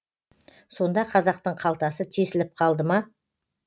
сонда қазақтың қалтасы тесіліп қалды ма